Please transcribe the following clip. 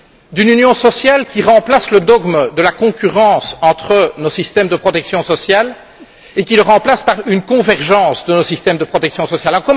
D'une union sociale qui remplace le dogme de la concurrence entre nos systèmes de protection sociale et qui le remplace par une convergence de nos systèmes de protection sociale?